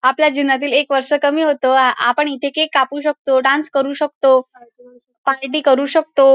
आपल्या जीवनातील एक वर्ष कमी होतो अ आपण इथे केक कापू शकतो डान्स करू शकतो पार्टी करू शकतो.